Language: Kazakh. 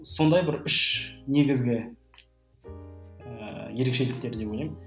сондай бір үш негізгі ііі ерекшеліктер деп ойлаймын